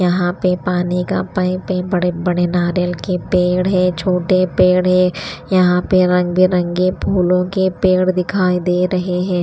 यहाँ पे पानी का पाइप है बड़े-बड़े नारियल के पेड़ है छोटे पेड़ है यहाँ पे रंग बिरंगे फूलों के पेड़ दिखाई दे रहे हैं।